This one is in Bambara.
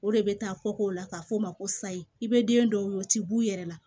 O de bɛ taa kɔkɔ la k'a f'o ma ko sayi i bɛ den dɔw ye o tɛ b'u yɛrɛ la